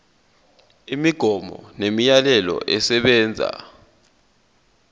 imigomo nemiyalelo esebenza